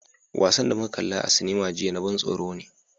Wasan da muka kalla a cinema jiya na ban tsoro ne.